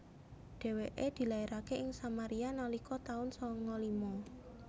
Dhèwèké dilairaké ing Samaria nalika taun sanga lima